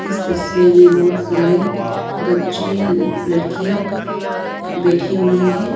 इस तस्वीर में बहोत सारे बच्चे लड़कियाँ बैठी हुई हैं।